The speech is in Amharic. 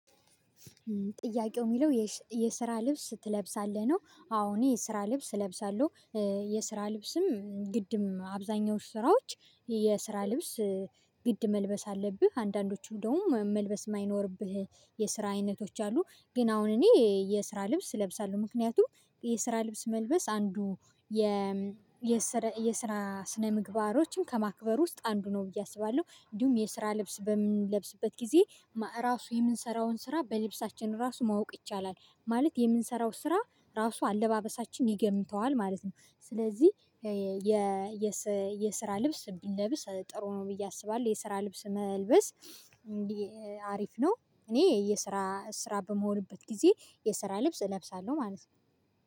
ጥያቄው የሚለው የስራ ልብስ ትለብሳለህ ነው የሚለው? አዎ እኔ የስራ ልብስ እለብሳለው። የስራ ልብስም ግድም አብዛኛው ስራዎች የስራ ልብስ ግድ መልበስ አለብህ አንዳንዶቹ እንደውም መልበስ ማይኖርብህ የስራ አይነቶች አሉ። ግን አሁን እኔ የስራ ልብስ እለብሳለው ምክንያቱም የስራ ልብስ መልበስ አንዱ የ የስራ ስነ ምግባሮችን ከማክበር ውስጥ አንዱ ነው ብዬ አስባለው እንዲሁም የስራ ልብስ በምንለብስበት ጊዜ እራሱ የምንሰራውን ስራ በልብሳችን ራሱ ማወቅ ይቻላል። ማለት የምሰራው ስራ ራሱ አለባበሳችን ይገምተዋል ማለት ነው። ስለዚህ የ የስራ ልብስ ብንለብስ ጥሩ ነው ብዬ አስባለሁ። የስራ ልብስ መልበስ አሪፍ ነው። እኔ የስራ ስራ በምሆንበት ግዜ የስራ ልብስ እለብሳለሁ ማለት ነው።